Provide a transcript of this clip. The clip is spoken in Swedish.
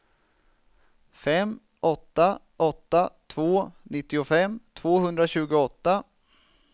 fem åtta åtta två nittiofem tvåhundratjugoåtta